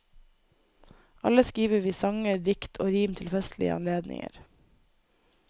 Alle skriver vi sanger, dikt og rim til festlige anledninger.